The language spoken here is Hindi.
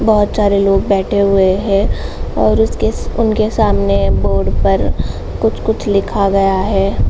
बोहोत सारे लोग बैठे हुए हैं और उसके स उनके सामने बोर्ड पर कुछ-कुछ लिखा गया है।